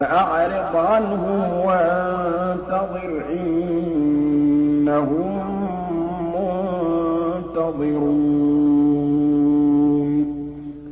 فَأَعْرِضْ عَنْهُمْ وَانتَظِرْ إِنَّهُم مُّنتَظِرُونَ